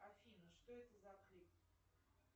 афина что это за клип